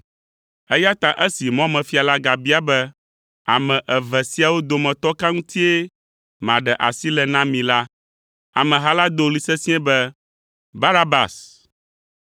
Eya ta esi mɔmefia la gabia be, “Ame eve siawo dometɔ ka ŋutie maɖe asi le na mi?” La, ameha la do ɣli sesĩe be, “Barabas!”